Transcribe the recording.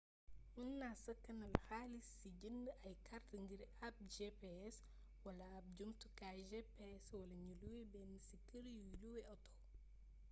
mën na sakanal xalis si jënd ay kart ngir ab gps wala ab jumutukaayu gps wala ñu luwé ben si kër yuy luwe auto